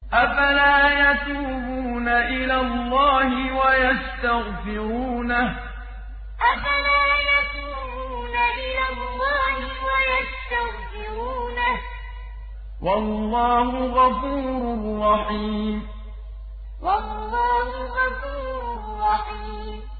أَفَلَا يَتُوبُونَ إِلَى اللَّهِ وَيَسْتَغْفِرُونَهُ ۚ وَاللَّهُ غَفُورٌ رَّحِيمٌ أَفَلَا يَتُوبُونَ إِلَى اللَّهِ وَيَسْتَغْفِرُونَهُ ۚ وَاللَّهُ غَفُورٌ رَّحِيمٌ